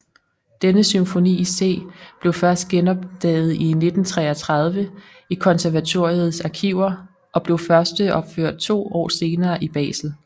Denne symfoni i C blev først genopdaget i 1933 i konservatoriets arkiver og blev førsteopført to år senere i Basel